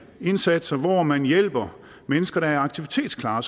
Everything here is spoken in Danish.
indsatser hvor man hjælper mennesker der er aktivitetsparate